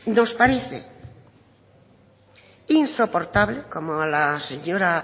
nos parece insoportable como a